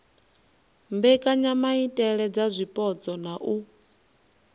mbekanyamaitele dza zwipotso na u